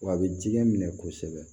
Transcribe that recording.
Wa a bɛ jɛgɛ minɛ kosɛbɛ